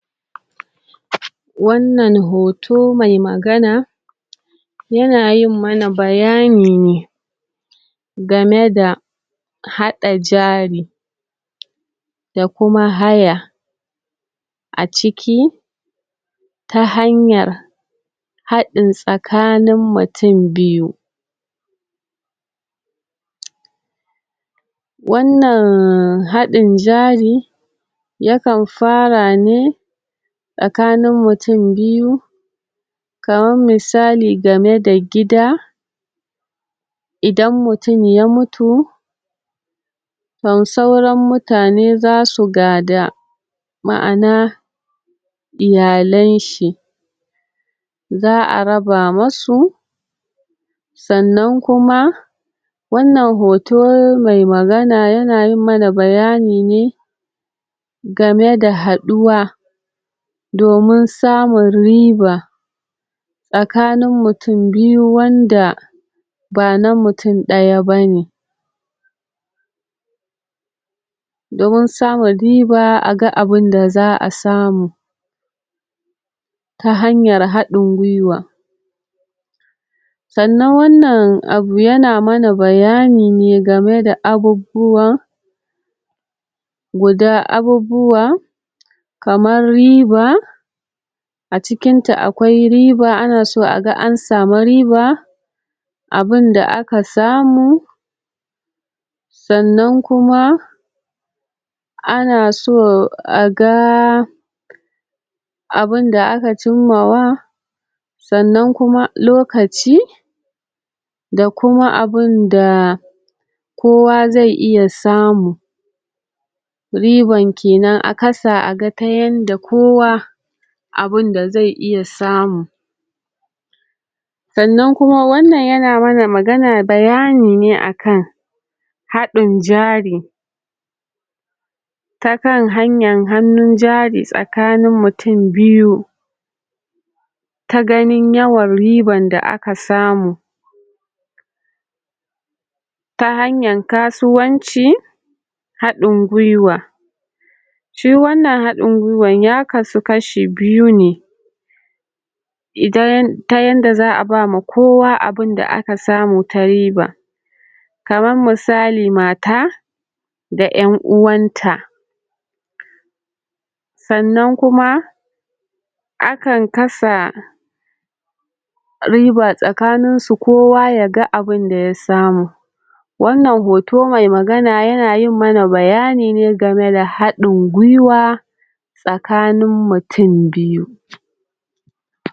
wannan hoto mai magana ya na yin ma na bayani ne ga me da hada jari da kuma haya a ciki ta hanyar hadin tsakanin mutum biyu wannan hadin jari yakan fara ne tsakanin mutum biyu kamar misali ga me da gida idan mutum ya mutu? sauran mutane za su gada ma'ana iyalen shi za'a raba masu sannan kuma wannan hoto mai magana ya na yin mana bayani ne ga me da haduwa domin samun riba tsakanin mutum biyu wanda ba na mutumdaya ba ne domin samun riba a ga abun da za'a samu ta hanyar hadin gwiwa sannan wannan abu yana mana bayani ne ga me da abubuwa guda abubuwa kamar riba a cikin ta akwai riba ana so a ga an samu riba abin da aka samu sannan kuma ana so a ga abun da aka cima wa sannan kuma lokaci da kuma abun da kowa zai iya samu riban kenan a kasa a ga ta yanda kowa abun da zai iya samu sannan kuma wannan ya na ma na magana bayani ne a kan hadin jari ta kan hanyan hannun jari tsakanin kutum biyu ta ganin yawan ribn da aka samu ta hanyan kasuwanci hadin gwiwa shi wannan hadin gwiwa ya hadu kashi biyu ne idan ta yadda za'a ba ma kowa abun da aka samu ta riba kamar misali mata da 'yan uwanta sannan kuma akan kasa riba tsakanin su kowa ya ga abun da ya samu wannan hoto mai magana ya na yin mana bayani ne ga me da hadin gwiwa tsakanin mutum biyu